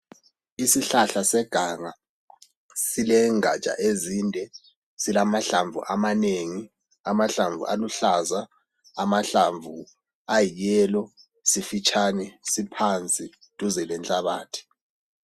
Isihlahla seganga silengatsha ezinde. Silamahlamvu amanengi. Silamahlamvu aluhlaza, silamahlamvu ayi yellow. Sifitshane siphansi duze lenhlabathi.